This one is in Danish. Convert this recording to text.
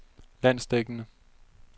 landsdækkende